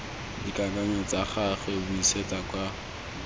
dikakanyo tsa gagwe buisetsa kwa